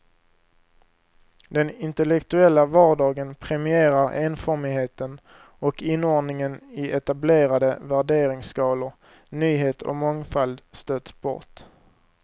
Den intellektuella vardagen premierar enformigheten och inordningen i etablerade värderingsskalor, nyhet och mångfald stöts bort.